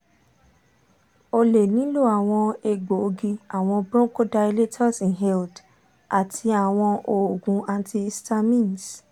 o le nilo awọn egboogi awọn bronchodilators inhaled ati awọn oogun antihistamines